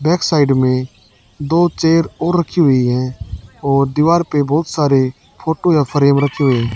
back side में दो chair और रखी हुई है और दीवार पे बहोत सारे फोटो या फ्रेम रखे हुए--